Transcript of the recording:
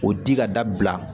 O di ka dabila